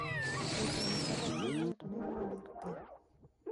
Wuotho e wi faras miyo ng'ato neno maber thim.